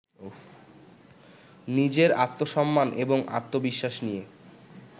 নিজের আত্মসম্মান এবং আত্মবিশ্বাস নিয়ে